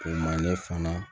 O ma ne fana